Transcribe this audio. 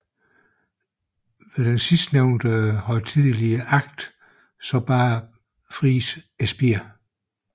Ved den sidstnævnte højtidelige akt bar Friis spiret